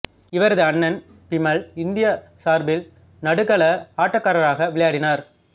இவரது அண்ணன் பிமல் இந்தியா சார்பில் நடுக்கள ஆட்டக்காரராக விளையாடினார்